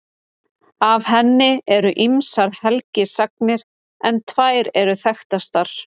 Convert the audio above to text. Af henni eru ýmsar helgisagnir en tvær eru þekktastar.